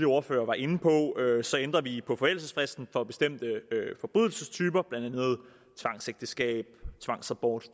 ordførere var inde på ændrer vi på forældelsesfristen for bestemte forbrydelsestyper blandt andet tvangsægteskab tvangsabort